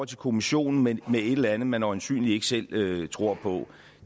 til kommissionen med et eller andet man øjensynligt ikke selv tror på